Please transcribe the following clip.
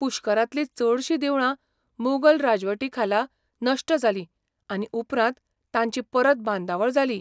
पुष्करांतलीं चडशीं देवळां मोगल राजवटी खाला नश्ट जालीं, आनी उपरांत तांची परत बांदावळ जाली.